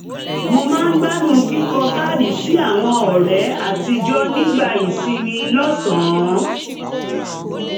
mo máa gbádùn kíkọ káàdì sí àwọn ọ̀rẹ́ àtijọ́ nígbà ìsinmi lọ́sàn